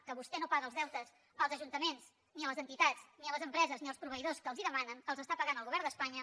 que vostè no paga els deutes als ajuntaments ni a les entitats ni a les empreses ni als proveïdors que els ho demanen els està pagant el govern d’espanya